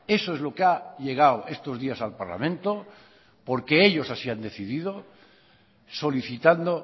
eso es lo que ha llegado estos días al parlamento porque ellos así han decidido solicitando